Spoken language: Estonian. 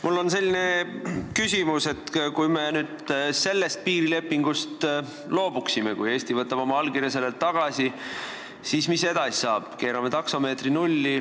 Mul on selline küsimus, et kui me sellest piirilepingust loobuksime, kui Eesti võtaks oma allkirja sellelt tagasi, siis mis edasi saaks, kui me keerame taksomeetri nulli.